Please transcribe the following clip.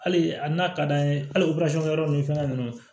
Hali a n'a ka d'an ye hali o yɔrɔ ninnu fɛngɛ ninnu na